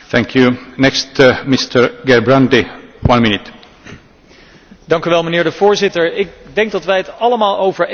Voorzitter, ik denk dat wij het er allemaal over eens zijn dat de ebola uitbraak een krachtige Europese respons behoeft.